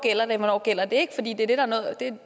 en